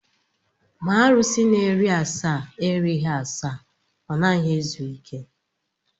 Ma arụsi na-eri asaa erighị asaa, ọ naghị ezu ike.